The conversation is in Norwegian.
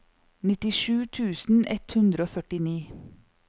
nittisju tusen ett hundre og førtini